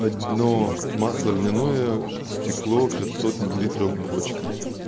одно масло льняное стекло пятьсот миллилитров бочка